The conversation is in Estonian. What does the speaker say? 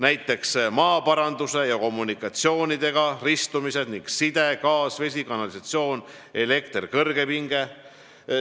Näiteks maaparandus ja kommunikatsioonidega ristumised: side, gaas, vesi, kanalisatsioon, elekter, kõrgepinge.